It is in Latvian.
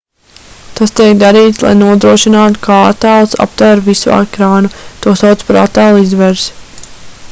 tas tiek darīts lai nodrošinātu ka attēls aptver visu ekrānu to sauc par attēla izvērsi